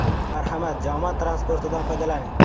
Marhamat, jamoat transportidan foydalaning.